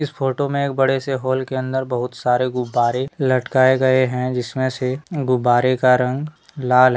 इस फोटो में एक बड़े से होल के अंदर बहुत सारे गुम्बारे लटकाए गए है जिसमे से गुम्बारे का रंग लाल है।